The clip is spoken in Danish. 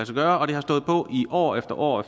sig gøre og det har stået på år efter år